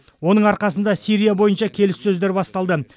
оның арқасында сирия бойынша келіссөздер басталды